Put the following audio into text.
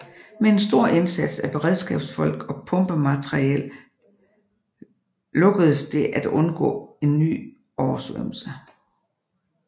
Med en stor indsats af beredskabsfolk og pumpemateriel lukkedes det at undgå en ny oversvømmelse